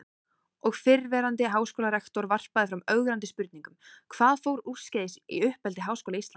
Og fyrrverandi háskólarektor varpaði fram ögrandi spurningum: Hvað fór úrskeiðis í uppeldi Háskóla Íslands?